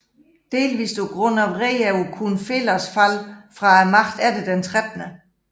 Delvist på grund af vrede over Kunphelas fald fra magten efter den 13